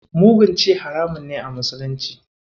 Mugun ci haramun ne a musulunci.